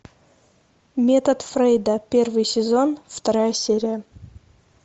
метод фрейда первый сезон вторая серия